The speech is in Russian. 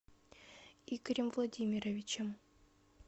игорем владимировичем